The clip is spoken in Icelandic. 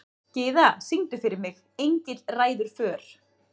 Gyða, syngdu fyrir mig „Engill ræður för“.